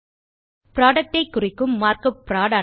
productஐ குறிக்கும் markup புரோட்